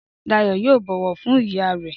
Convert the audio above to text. Dayọ̀ yóò bọ̀wọ̀ fún ìyá rẹ